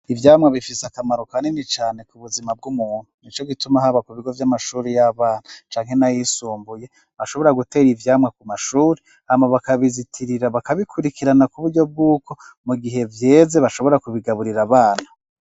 Ivyamwa bifise akamaro kanini cane ku buzima bw'umuntu. Nico gituma haba ku bigo vy'amashuri y'abana canke n'ayisumbuye bashobora gutera ivyamwa ku mashuri hama bakabizitirira bakabikurikirana ku buryo bw'uko mu gihe vyeze bashobora kubigaburira abana.